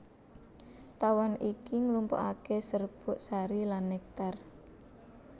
Tawon iki nglumpukaké serbuk sari lan nektar